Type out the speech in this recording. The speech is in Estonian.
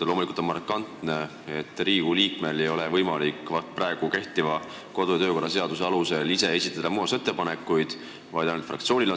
Loomulikult on markantne, et Riigikogu liikmel ei ole võimalik praegu kehtiva kodu- ja töökorra seaduse alusel muudatusettepanekuid esitada, see võimalus on ainult fraktsioonil.